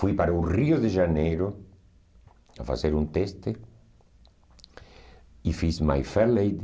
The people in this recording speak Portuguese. Fui para o Rio de Janeiro a fazer um teste e fiz My Fair Lady.